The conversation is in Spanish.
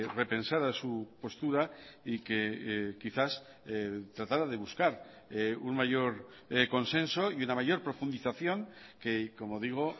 repensara su postura y que quizás tratara de buscar un mayor consenso y una mayor profundización que como digo